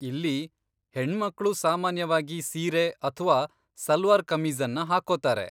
ಇಲ್ಲಿ, ಹೆಣ್ಮಕ್ಳು ಸಾಮಾನ್ಯವಾಗಿ ಸೀರೆ ಅಥ್ವಾ ಸಲ್ವಾರ್ ಕಮೀಜ಼ನ್ನ ಹಾಕ್ಕೊತಾರೆ.